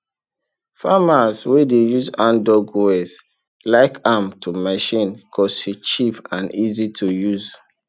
farmers wey dey use handdug wells like am to machine cause e cheap and easy to use